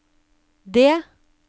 det